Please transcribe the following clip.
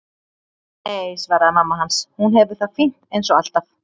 Nei, svaraði mamma hans, hún hefur það fínt eins og alltaf.